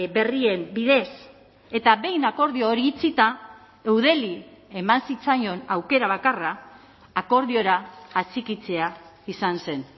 berrien bidez eta behin akordio hori itxita eudeli eman zitzaion aukera bakarra akordiora atxikitzea izan zen